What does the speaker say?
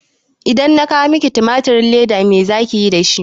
Idan na kawo miki timatirin leda me zaki yi dashi?